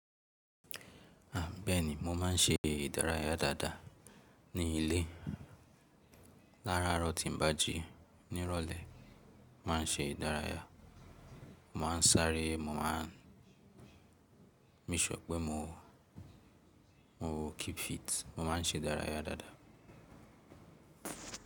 A béèni mo ma n ṣe ìdárayá dáadáa ní ilé. Láraaárọ̀ tí n bá jí ní ìrọ̀lẹ́, màá n ṣe ìdárayá, màá n sáré, mo ma make sure pé mo, mo keep fit, mo ma n ṣe ìdárayá dáadáa.